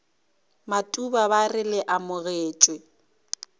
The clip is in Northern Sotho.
matuba ba re le amogetšwe